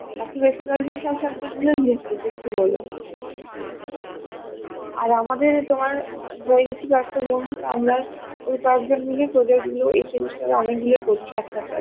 বাকি বেশিরভাগই সব subject group project ই বলে হচ্ছে আর আমাদের তোমার হয়েগেছি কয়েকটা বন্ধু তোমার তো আমরা ওই কয়েকজন project গুলো এই semester এ অনেক গুলোই করছি একসাথে